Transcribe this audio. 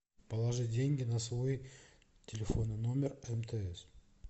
положи деньги на свой телефонный номер мтс